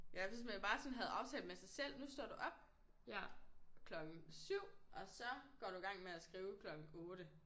Ja hvis man bare sådan havde aftalt med sig selv nu står du op klokken 7 og så går du i gang med at skrive klokken 8